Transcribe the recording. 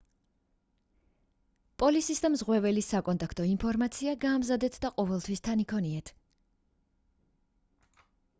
პოლისის და მზღვეველის საკონტაქტო ინფორმაცია გაამზადეთ და ყოველთვის თან იქონიეთ